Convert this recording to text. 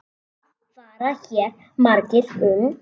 Hvað fara hér margir um?